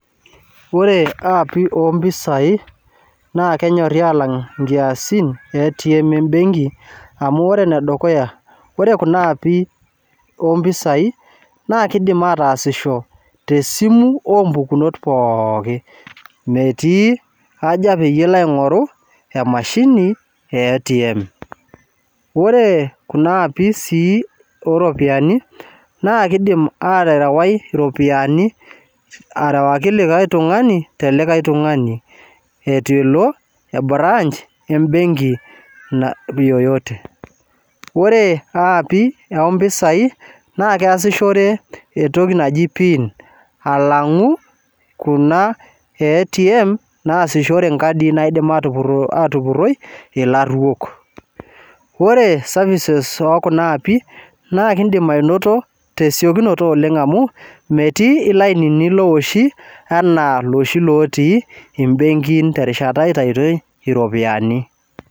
Ore aapi ompisai naa kenyorri alang inkiasin e ATM embenki amu ore enedukuya ore kuna aapi ompisai naa kidim ataasisho tesimu ompukunot pooki metii haja peyie ilo aing'oru emashini e ATM ore kuna aapi sii oropiani naa kidim aterewai iropiani arewaki likae tung'ani telikae tung'ani etu elo e branch embenki na yoyote ore aapi ompisai naa keasishore entoki naji pin alang'u kuna e ATM naasishore inkadi naidim atupurro atupurroi ilarruok ore services okuna aapi naa kindim anoto tesiokinoto oleng amu metii ilainini lowoshi enaa iloshi lotii imbenkin terishata itaitoi iropiani.